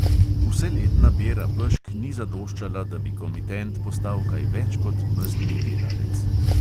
Vseletna bera pešk ni zadoščala, da bi komitent postal kaj več kot mezdni delavec.